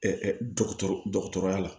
dɔgɔtɔrɔya la